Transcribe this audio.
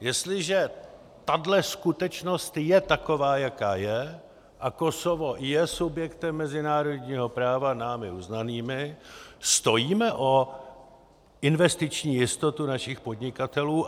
Jestliže tahle skutečnost je taková, jaká je, a Kosovo je subjektem mezinárodního práva námi uznaným, stojíme o investiční jistotu našich podnikatelů?